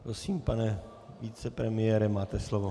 Prosím, pane vicepremiére, máte slovo.